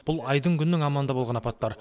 бұл айдың күннің аманында болған апаттар